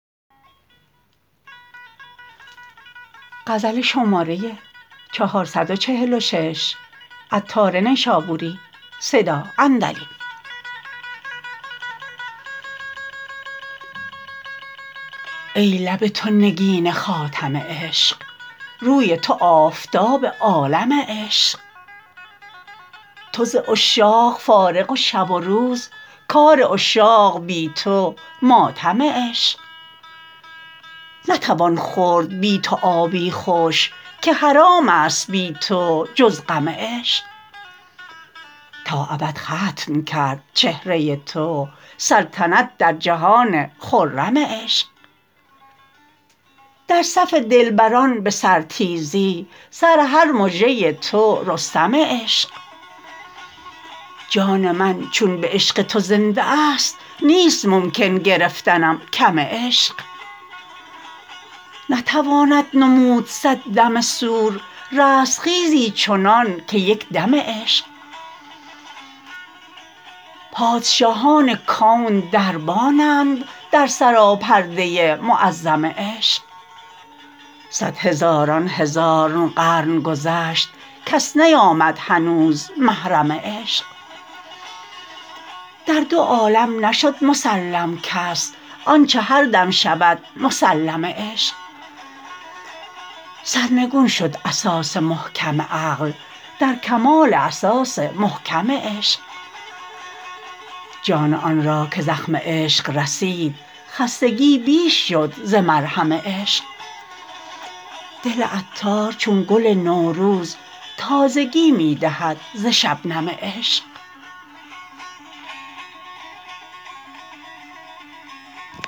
ای لب تو نگین خاتم عشق روی تو آفتاب عالم عشق تو ز عشاق فارغ و شب و روز کار عشاق بی تو ماتم عشق نتوان خورد بی تو آبی خوش که حرام است بی تو جز غم عشق تا ابد ختم کرد چهره تو سلطنت در جهان خرم عشق در صف دلبران به سرتیزی سر هر مژه تو رستم عشق جان من چون به عشق تو زنده است نیست ممکن گرفتنم کم عشق نتواند نمود صد دم صور رستخیزی چنان که یک دم عشق پادشاهان کون دربانند در سراپرده معظم عشق صد هزاران هزار قرن گذشت کس نیامد هنوز محرم عشق در دو عالم نشد مسلم کس آنچه هر دم شود مسلم عشق سرنگون شد اساس محکم عقل در کمال اساس محکم عشق جان آن را که زخم عشق رسید خستگی بیش شد ز مرهم عشق دل عطار چون گل نوروز تازگی می دهد ز شبنم عشق